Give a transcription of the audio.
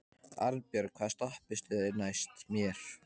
Arnbjörg, hvaða stoppistöð er næst mér?